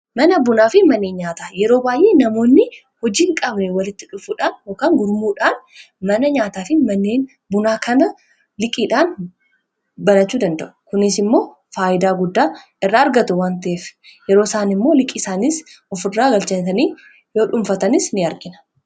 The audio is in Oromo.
Mana bunaa fi manneen nyaataa yeroo baay'ee namoonni hojii hin qabne walitti dhufuudhaan gurmuudhaan mana nyaataa fi maneen bunaa kana liqiidhaan banachuu danda'u. Kunis immoo faayidaa guddaa irraa argatu waan ta'eef yeroo isaan immoo liqii isaanis ofirraa galchatanii yoo dhunfatanis ni arqina.